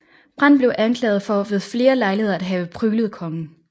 Brandt blev anklaget for ved flere lejligheder at have pryglet kongen